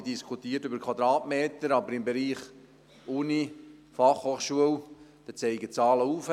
Man diskutiert über Quadratmeter, aber bei der Universität und der Fachhochschule zeigen die Zahlen nach oben.